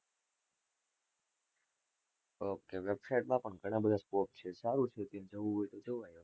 ohk, website માં પણ ઘણા બધા scope છે, સારું છે, જવું હોય તો જવાય.